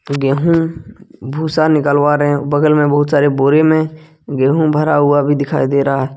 गेहूँ भूसा निकलवा रहे बगल में बहुत सारे बोरे में गेहूं भरा हुआ भी दिखाई दे रहा--